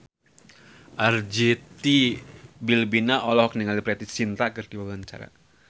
Arzetti Bilbina olohok ningali Preity Zinta keur diwawancara